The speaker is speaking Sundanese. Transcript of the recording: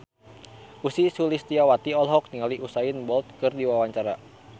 Ussy Sulistyawati olohok ningali Usain Bolt keur diwawancara